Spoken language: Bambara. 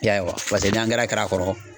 I y'a ye wa paseke n'angɛrɛ kɛr'a kɔrɔ